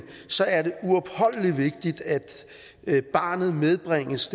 så er det uopholdelig vigtigt at at barnet bringes